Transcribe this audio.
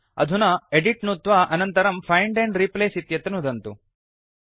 अधुना एदित् नुत्वा अनन्तरम् फाइण्ड एण्ड रिप्लेस इत्यत्र नुदन्तु